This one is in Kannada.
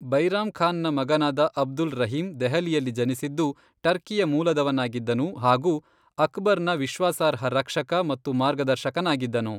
ಬೈರಾಮ್ ಖಾನ್ ನ ಮಗನಾದ ಅಬ್ದುಲ್ ರಹೀಮ್ ದೆಹಲಿಯಲ್ಲಿ ಜನಿಸಿದ್ದು ಟರ್ಕಿಯ ಮೂಲದವನಾಗಿದ್ದನು ಹಾಗು ಅಕ್ಬರ್ ನ ವಿಶ್ವಾಸಾರ್ಹ ರಕ್ಷಕ ಮತ್ತು ಮಾರ್ಗದರ್ಶಕನಾಗಿದ್ದನು.